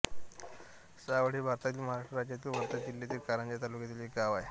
सावळ हे भारतातील महाराष्ट्र राज्यातील वर्धा जिल्ह्यातील कारंजा तालुक्यातील एक गाव आहे